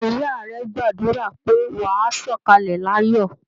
Ìyá rẹ̀ gbàdúrà pé "wà á sọ̀kalẹ̀ láyọ̀".